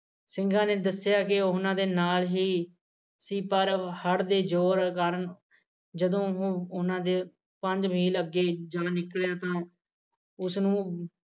ਜਦੋ ਹੁਣ ਉਹਨਾ ਦੇ ਪੰਜ ਮੀਂਹ ਲੱਗ ਜਾ ਲੱਗਿਆ ਤਾਂ ਉ, ਸ ਨੂੰ